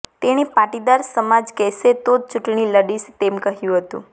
તેણે પાટીદાર સમાજ કહેશે તો જ ચૂંટણી લડીશ તેમ કહ્યું હતું